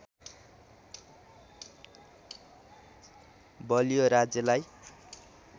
बलियो राज्यलाई